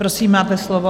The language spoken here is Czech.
Prosím, máte slovo.